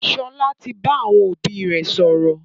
Sọlá tí bá àwọn òbí rẹ sọ̀rọ̀